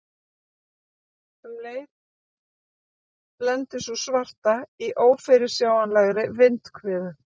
Um leið lendir sú svarta í ófyrirsjáanlegri vindhviðu.